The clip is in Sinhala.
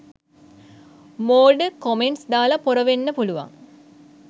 මෝඩ කොමෙන්ට්ස් දාලා පොර වෙන්න පුළුවන්